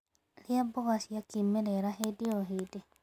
Rĩa mmboga cia kĩmerera hĩndĩ o hĩndĩ